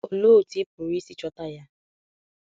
Olo otú ị pụrụ isi chọta ya?